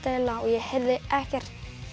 eiginlega og ég heyrði ekkert